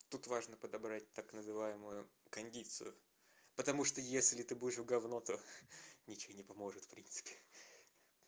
тут важно подобрать так называемую кондицию потому что если ты будешь в говно то ничего не поможет в принципе